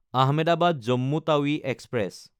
Ahmedabad Jammu Tawi express